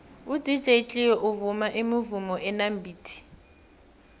udj cleo uvuma imivumo enamabhithi